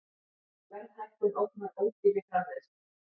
Verðhækkun ógnar ódýrri framleiðslu